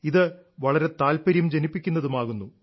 ഇത് വളരെ താല്പര്യം ജനിപ്പിക്കുന്നതുമാകുന്നു